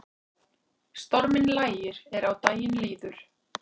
Storminn lægir er á daginn líður